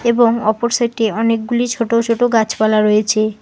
এবং অপর সাইটে অনেকগুলি ছোট ছোট গাছপালা রয়েছে।